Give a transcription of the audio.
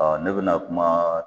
Aa ne be na kuma